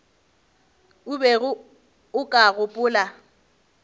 o bego o ka gopola